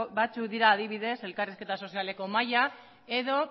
batzuk dira adibidez elkarrizketa sozialeko mahaia edo